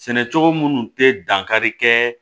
Sɛnɛ cogo minnu tɛ dankari kɛ